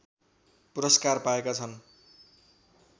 पुरस्कार पाएका छन्